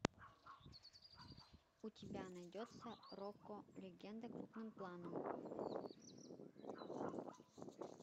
у тебя найдется рокко легенда крупным планом